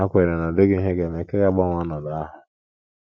Ha kwenyere na ọ dịghị ihe ha ga - eme nke ga - agbanwe ọnọdụ ahụ.